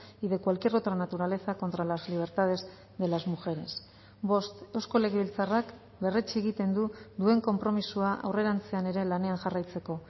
y de cualquier otra naturaleza contra las libertades de las mujeres bost eusko legebiltzarrak berretsi egiten du duen konpromisoa aurrerantzean ere lanean jarraitzeko